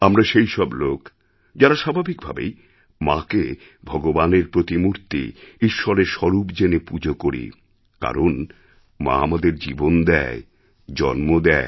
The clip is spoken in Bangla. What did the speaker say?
আমরা সেইসব লোক যারা স্বাভাবিক ভাবেই মাকে ভগবানের প্রতিমূর্তি ঈশ্বরের স্বরূপজেনে পুজো করি কারণ মা আমাদের জীবন দেয় জন্ম দেয়